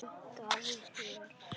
Davíð: Vel.